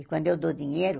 E quando eu dou dinheiro,